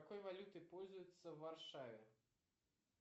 какой валютой пользуются в варшаве